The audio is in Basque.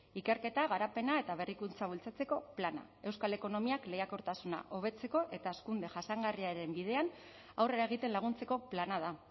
ikerketa garapena eta berrikuntza bultzatzeko plana euskal ekonomiak lehiakortasuna hobetzeko eta hazkunde jasangarriaren bidean aurrera egiten laguntzeko plana da